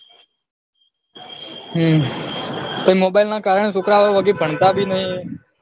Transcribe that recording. હમ પહી mobile ના કારણે છોકરાઓ વગે ભણતા ભી નહી